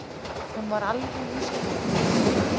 Hún var alveg í skýjunum.